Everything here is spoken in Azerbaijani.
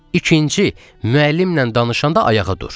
İkinci, müəllimlə danışanda ayağa dur.